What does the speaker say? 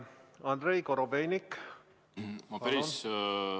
Andrei Korobeinik, palun!